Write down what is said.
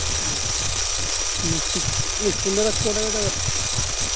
മ്മ് മെസ്സിക്ക് മെസ്സിന്റെ record ഒക്കെ തകർത്തോ